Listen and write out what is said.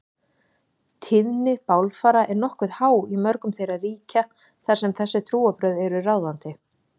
Tíðni bálfara er nokkuð há í mörgum þeirra ríkja þar sem þessi trúarbrögð eru ráðandi.